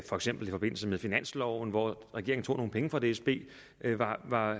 forbindelse med finansloven feks hvor regeringen tog nogle penge fra dsb